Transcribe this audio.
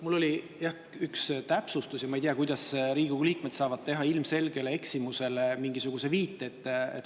Mul on üks täpsustus, aga ma ei tea, kuidas Riigikogu liikmed saavad teha mingisuguse viite ilmselgele eksimusele.